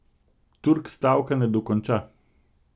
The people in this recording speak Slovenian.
Turk stavka ne dokonča.